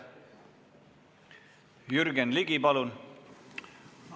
Jürgen Ligi, palun!